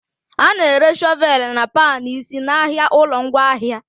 A na-ere Shọvelụ na pan isi n'ahịa ụlọ ngwaahịa